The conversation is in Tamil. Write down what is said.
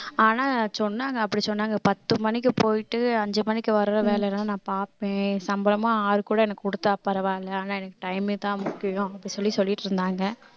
ஆனா சொன்னாங்க அப்படி சொன்னாங்க பத்து மணிக்கு போயிட்டு அஞ்சு மணிக்கு வர்ற வேலை எல்லாம் நான் பார்ப்பேன் சம்பளமா ஆறு கூட எனக்கு கொடுத்தா பரவாயில்லை ஆனா எனக்கு time ஏதான் முக்கியம் அப்படி சொல்லி சொல்லிட்டு இருந்தாங்க